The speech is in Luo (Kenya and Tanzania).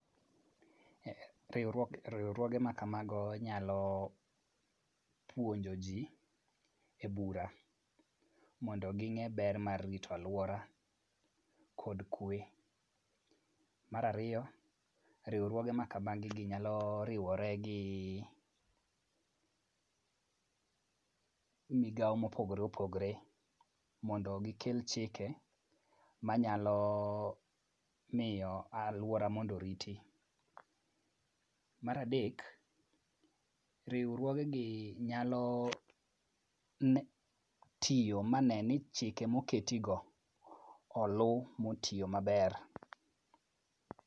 Riwruoge ma kamago nyalo puonjo ji e bura mondo ging'e ber mar rito alwora kod kwe. Mar ariyo, riwruoge makamagigi nyalo riwore gi migawo mopogore opogore mondo gikel chike manyalo miyo alwora mondo oriti. Mar adek, riwruogegi nyalo tiyo mane ni chike moketigo oluw motiyo maber.